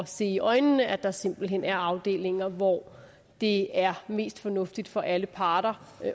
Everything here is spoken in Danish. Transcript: se i øjnene at der simpelt hen er afdelinger hvor det er mest fornuftigt for alle parter